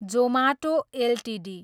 Zomato Ltd